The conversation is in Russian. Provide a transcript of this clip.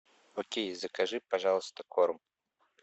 окей закажи пожалуйста корм